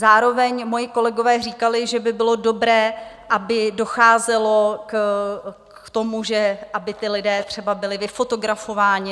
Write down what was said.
Zároveň moji kolegové říkali, že by bylo dobré, aby docházelo k tomu, že aby ti lidé třeba byli vyfotografováni.